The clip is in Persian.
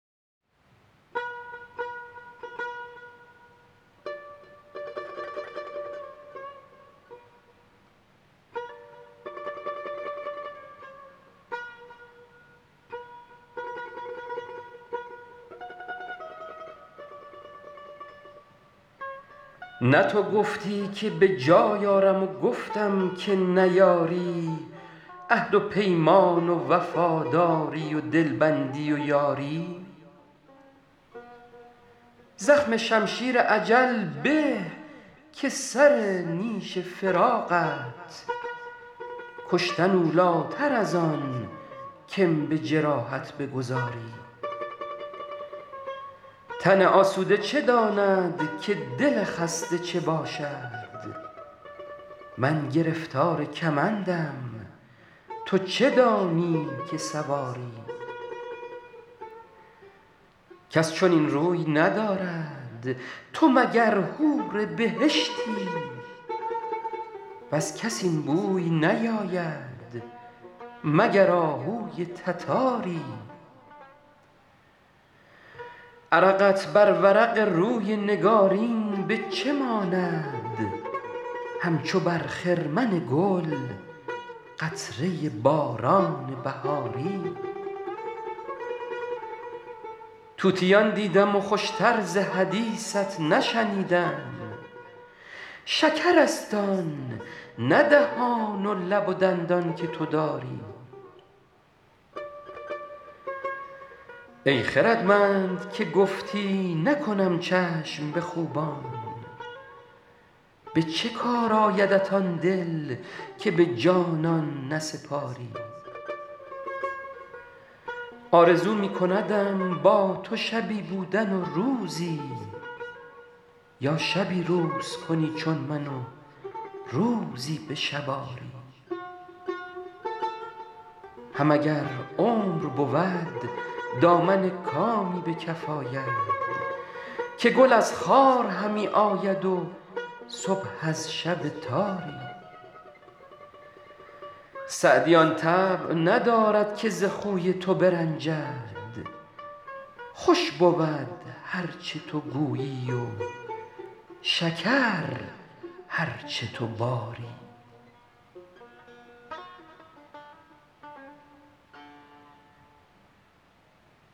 نه تو گفتی که به جای آرم و گفتم که نیاری عهد و پیمان و وفاداری و دلبندی و یاری زخم شمشیر اجل به که سر نیش فراقت کشتن اولاتر از آن که م به جراحت بگذاری تن آسوده چه داند که دل خسته چه باشد من گرفتار کمندم تو چه دانی که سواری کس چنین روی ندارد تو مگر حور بهشتی وز کس این بوی نیاید مگر آهوی تتاری عرقت بر ورق روی نگارین به چه ماند همچو بر خرمن گل قطره باران بهاری طوطیان دیدم و خوش تر ز حدیثت نشنیدم شکرست آن نه دهان و لب و دندان که تو داری ای خردمند که گفتی نکنم چشم به خوبان به چه کار آیدت آن دل که به جانان نسپاری آرزو می کندم با تو شبی بودن و روزی یا شبی روز کنی چون من و روزی به شب آری هم اگر عمر بود دامن کامی به کف آید که گل از خار همی آید و صبح از شب تاری سعدی آن طبع ندارد که ز خوی تو برنجد خوش بود هر چه تو گویی و شکر هر چه تو باری